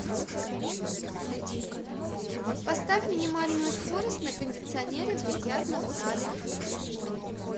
поставь минимальную скорость на кондиционере в бильярдном зале